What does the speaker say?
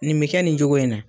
Nin bi kɛ nin cogo in na.